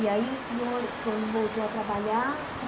E aí o senhor, quando voltou a trabalhar,